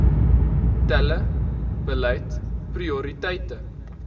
tele beleid prioriteite